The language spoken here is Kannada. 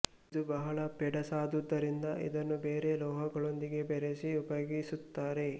ಇದು ಬಹಳ ಪೆಡಸಾದುದರಿಂದ ಇದನ್ನು ಬೇರೆ ಲೋಹಗಳೊಂದಿಗೆ ಬೆರೆಸಿ ಉಪಯೋಗಿಸುತ್ತಾರೆ